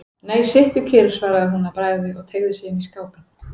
Nei, sittu kyrr, svaraði hún að bragði og teygði sig inn í skápinn.